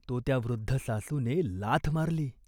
तो त्या वृद्ध सासूने लाथ मारली.